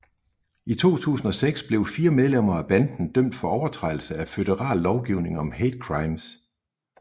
I 2006 blev fire medlemmer af banden dømt for overtrædelse af føderal lovgivning om hate crimes